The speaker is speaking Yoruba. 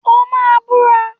O máa búra!